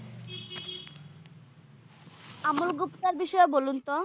আমল গুপ্তার বিষয়ে বলুন তো?